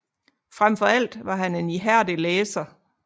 Frem for alt var han en ihærdig læser